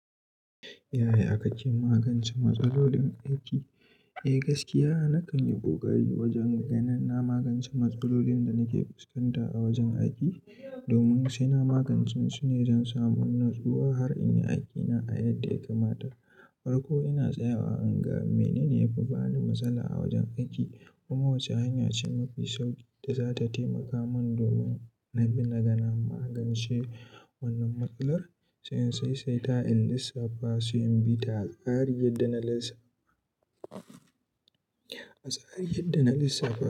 Yaya aka ci magance matsalolin aiki? Eh gaskiya nakan yi koƙari wajen ganin na magance matsalolin da nake fuskanta a wajen aiki domin sai na magance su ne don samun natsuwa har in yi aikina a yadda ya kamata. Farko ina tsayawa in ga menene ya fi bani matsala a wajen aiki kuma wace hanya ce mafi sauƙi da za ta taimaka min domin na bi naga na magance wannan matsalar. Sai in saisaita in lissafa se in bi ta tsarin yadda na lis. A tsarin yadda na lissafa.